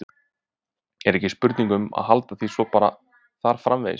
Er ekki spurning um að halda því svo bara þar framvegis?